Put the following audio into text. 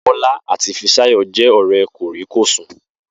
Bó̩lá àti Fisáyò̩ jé̩ ò̩ré̩ kòríkòsùn